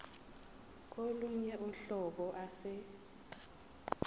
kolunye uhlobo ase